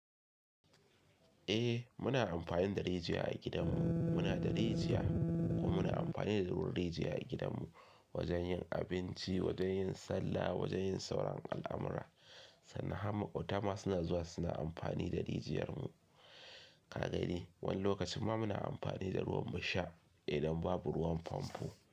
Eh muna amfani da rijiya a gidan mu, muna da rijiya kuma muna amfanine da ruwan rijiya a gidan mu wajen yin abinci, wajen yin sallah, wajen yin sauran al'amura. Sannan har maƙota ma suna zuwa suna amfani da rijiyarmu. Ka gani wani lokacin ma muna amfani da ruwan mu sha idan babu ruwan famfo.